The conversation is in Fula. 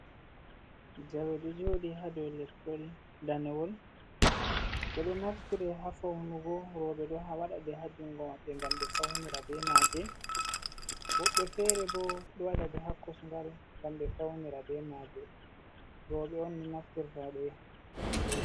Jawe ɗo jooɗi haa dow leppol danewol, ɗe ɗo naftire haa fawnugo. Rowɓe ɗo waɗa ɗe haa junngo maɓɓe, ngam ɓe fawnira be maaje. Woɓɓe feere bo, ɗo waɗa ɗe haa konsgal, ngam ɓe fawnira be maaje. Rowɓe on ni, naftirta be maaje.